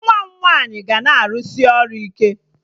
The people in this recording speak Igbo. Nwa m nwaanyị ga na-arụsị ọrụ ike